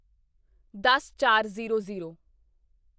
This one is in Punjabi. ਦਸਚਾਰਜ਼ੀਰੋ ਜ਼ੀਰੋ